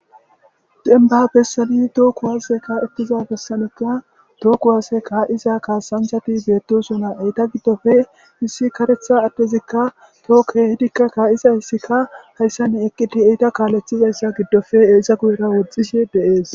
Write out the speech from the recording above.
Denba bessadi tookku waase ka'ettiza bessanekka tooku waase ka'isa kaasanhati beettosuna eyta giddofe hissi karetha addezikka tookke hidikka kaa'isa hissikka hayssanne eqqiti eyta kaaleththizayssa giddofe eisa guyera woxxishe deees